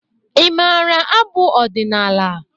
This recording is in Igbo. Ị mara abụ ọdịnala ọbụla?